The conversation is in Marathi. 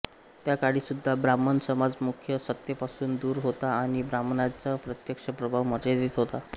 त्या काळीसुद्धा ब्राम्हण समाज मुख्य सत्तेपासून दूर होता आणि ब्राम्हणांचा प्रत्यक्ष प्रभाव मर्यादित होता